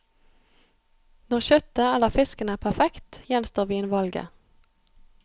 Når kjøttet eller fisken er perfekt, gjenstår vinvalget.